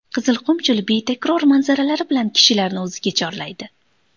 Qizilqum cho‘li betakror manzaralari bilan kishilarni o‘ziga chorlaydi.